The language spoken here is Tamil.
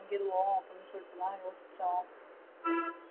வாங்கிருவோ அப்டினு சொல்லிட்டுதா யோசிச்சோம்